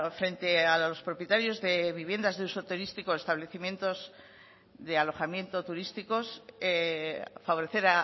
frente a los propietarios de viviendas de uso turístico de alojamientos turísticos favorecer